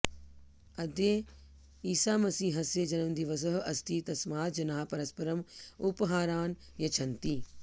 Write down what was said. अद्य ईसामसीहस्य जन्मदिवसः अस्ति तस्मात् जनाः परस्परं उपहारान् यच्छन्ति